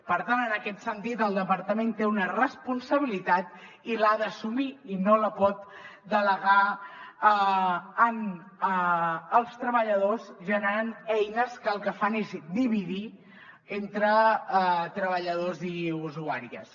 per tant en aquest sentit el departament té una responsabilitat i l’ha d’assumir i no la pot delegar en els treballadors generant eines que el que fan és dividir entre treballadors i usuàries